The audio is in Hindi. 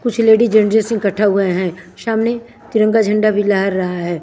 कुछ लेडीज जेन्स जेन्स इकठा हुए है सामने तिरंगा झंडा भी लहर रहा है।